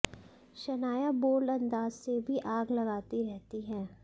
Shanaya bold अंदाज से भी आग लगाती रहती हैं